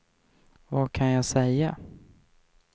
vad kan jag säga